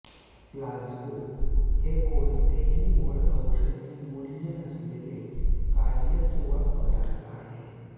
placebo हे कोणतेही मूळ औषधी मूल्य नसलेले कार्य किंवा पदार्थ आहे